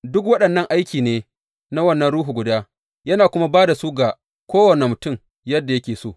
Duk waɗannan aiki ne na wannan Ruhu guda, yana kuma ba da su ga kowane mutum, yadda yake so.